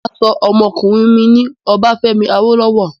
Mà á sọ ọmọkùnrin mi ní Obafemi Awolowo.